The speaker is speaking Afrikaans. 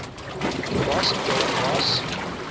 was daar was